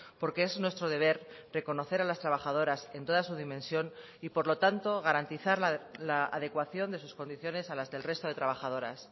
porque es nuestro deber reconocer a las trabajadoras en toda su dimensión y por lo tanto garantizar la adecuación de sus condiciones a las del resto de trabajadoras